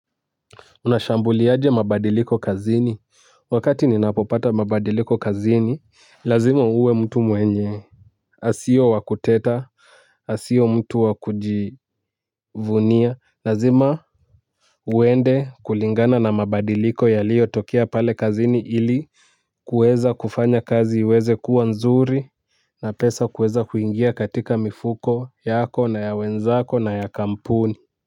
Unashambuliaje mabadiliko kazini. Wakati ninapopata mabadiliko kazini lazima uwe mtu mwenye asiye wa kuteta. Asiwe mtu wa kujivunia. Lazima uende kulingana na mabadiliko yaliiyotokea pale kazini ili kuweza kufanya kazi uweze kuwa nzuri. Na pesa kueza kuingia katika mifuko yako na ya wenzako na ya kampuni.